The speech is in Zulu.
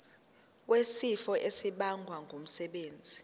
wesifo esibagwe ngumsebenzi